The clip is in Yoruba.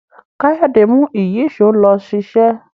Kayode mú Ìyíṣòó ló ṣiṣẹ.